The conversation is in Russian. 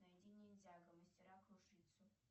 найди ниндзяго мастера кружитцу